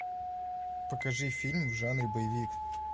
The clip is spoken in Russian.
покажи фильм в жанре боевик